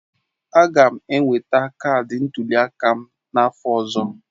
Aga m enweta kaadị ntuli aka m n'afọ ọzọ.